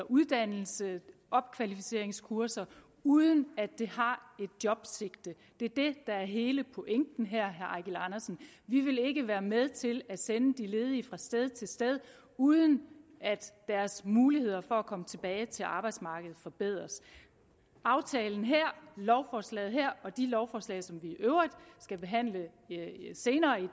uddannelse eller opkvalificeringskurser uden at det har et jobsigte det er det der er hele pointen her vi vil ikke være med til at sende de ledige fra sted til sted uden at deres muligheder for at komme tilbage til arbejdsmarkedet forbedres aftalen her lovforslaget her og de lovforslag som vi i øvrigt skal behandle senere i